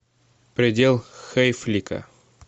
предел хейфлика